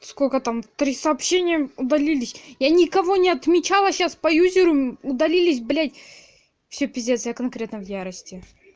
сколько там три сообщения удалились я никого не отмечала сейчас по юзеру удалились блять все пиздец я конкретно в ярости